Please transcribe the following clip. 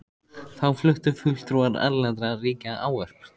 Þá fluttu fulltrúar erlendra ríkja ávörp.